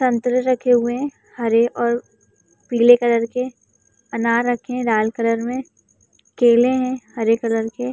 संतरे रखे हुए हैं हरे और पीले कलर के। अनार रखे हैं लाल कलर में। केले हैं हरे कलर के।